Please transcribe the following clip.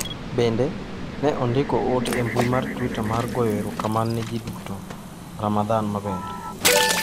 "Bende, ne ondiko ote e mbui mar Twitter mar goyo erokamano ne ji duto "Ramadan maber."